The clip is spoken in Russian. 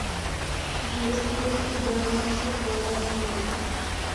есть ли у тебя лучший повар америки